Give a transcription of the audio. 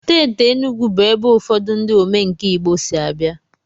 Steeti Enugwu bụ ebe ụfọdụ ndị omenkà Igbo si abịa.